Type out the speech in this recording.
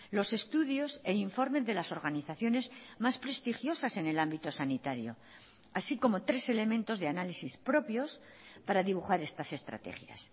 los estudios e informes de las organizaciones más prestigiosas en el ámbito sanitario así como tres elementos de análisis propios para dibujar estas estrategias